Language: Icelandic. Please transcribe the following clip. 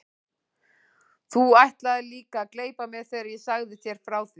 Þú ætlaðir líka að gleypa mig þegar ég sagði þér frá því.